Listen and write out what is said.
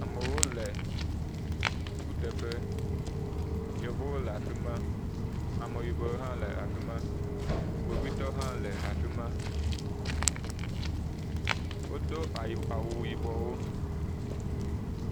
Amewo le kuteƒe, yevuwo le afi ma, ameyibɔwo hã le afi ma, kpovitɔwo hã le afi ma, wodo awu yibɔwo.